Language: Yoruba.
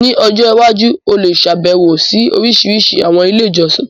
Ní ọjọ́ iwájú, o lè ṣàbẹ̀wo sí orísìírísìí àwọn ilé ìjọsìn.